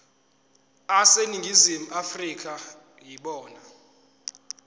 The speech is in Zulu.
aseningizimu afrika yibona